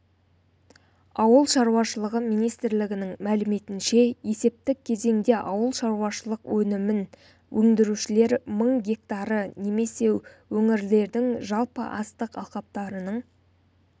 ауыл шаруашылығы министрлігінің мәліметінше есептік кезеңде ауылшаруашылық өнімін өндірушілер мың гектары немесе өңірлердің жалпы астық алқаптарының